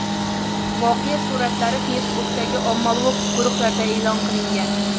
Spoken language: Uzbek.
Voqea suratlari Facebook’dagi ommabop guruhlarda e’lon qilingan.